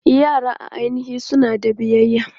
Yara a ainihi suna da bibiya.